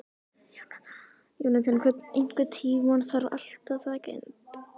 Jónatan, einhvern tímann þarf allt að taka enda.